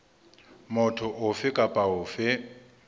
motho ofe kapa ofe e